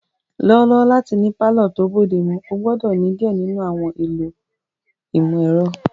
Lọwọlọwọ lati ni palọ to bodemu, o gbọdọ ni diẹ ninu àwọn ẹlọ ti imọ-ẹrọ.